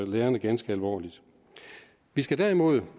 lærerne ganske alvorligt vi skal derimod